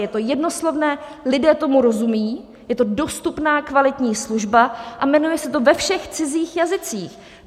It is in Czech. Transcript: Je to jednoslovné, lidé tomu rozumí, je to dostupná, kvalitní služba a jmenuje se to ve všech cizích jazycích.